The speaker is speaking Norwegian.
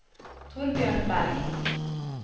Torbjørn Bergh